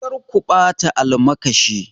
Kar ku bata almakashin!